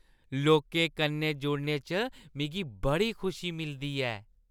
लोकें कन्नै जुड़ने च मिगी बड़ी खुशी मिलदी ऐ।